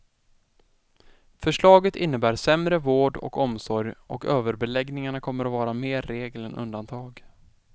Förslaget innebär sämre vård och omsorg och överbeläggningarna kommer vara mer regel än undantag.